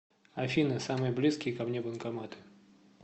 афина самые близкие ко мне банкоматы